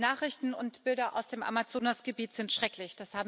Die Nachrichten und Bilder aus dem Amazonasgebiet sind schrecklich